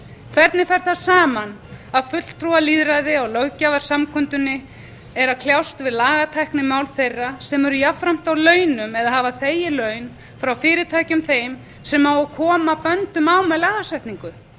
hvernig fer það saman að fulltrúalýðræði á löggjafarsamkundunni er að kljást við lagatæknimál þeirra sem eru jafnframt á launum eða hafa þegið laun frá fyrirtækjum þeim sem á að koma böndum á með lagasetningu